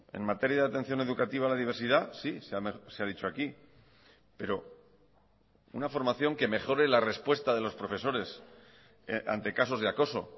en materia de atención educativa a la diversidad sí se ha dicho aquí pero una formación que mejore la respuesta de los profesores ante casos de acoso